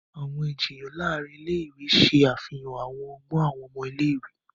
Awọn ijiyan láàrin ilé-ìwé ṣe àfihàn àwọn ọgbọn awọn ọmọ ilé-ìwé.